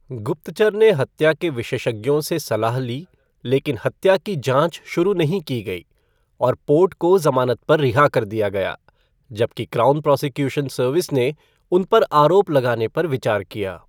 गुप्तचर ने हत्या के विशेषज्ञों से सलाह ली लेकिन हत्या की जाँच शुरू नहीं की गई और पोर्ट को जमानत पर रिहा कर दिया गया, जबकि क्राउन प्रॉसिक्यूशन सर्विस ने उन पर आरोप लगाने पर विचार किया।